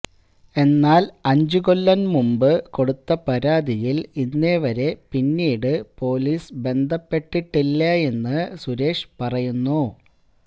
എന്നാല് അഞ്ചുകൊല്ലം മുമ്പ് കൊടുത്ത പരാതിയില് ഇന്നേവരെ പിന്നീട് പൊലീസ് ബന്ധപ്പെട്ടിട്ടേയില്ലെന്ന് സുരേഷ് പറയുന്നു